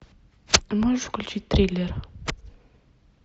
можешь включить триллер